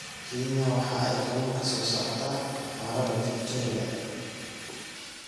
Kenya waxa ay kalluun ka soo saartaa harada Victoria.